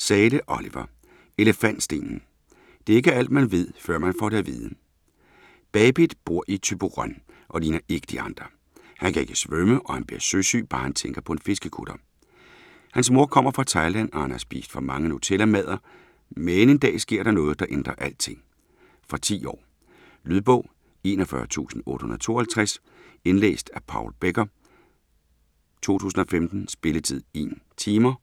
Zahle, Oliver: Elefantstenen: det er ikke alt, man ved, før man får det at vide Bapit bor i Thyborøn og ligner ikke de andre. Han kan ikke svømme og han bliver søsyg bare han tænker på en fiskekutter. Hans mor kommer fra Thailand og han har spist for mange nutellamadder, men en dag sker der noget, der ændrer alting. Fra 10 år. Lydbog 41852 Indlæst af Paul Becker , 2015. Spilletid: 1 timer,